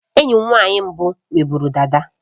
Enyi m nwanyị mbụ nwe bụrụ dada